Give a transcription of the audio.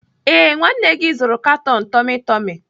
Ee, nwanne gị nwoke zụrụ katon tummy tummy.